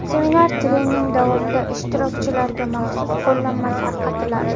Seminar-trening davomida ishtirokchilarga maxsus qo‘llanma tarqatiladi.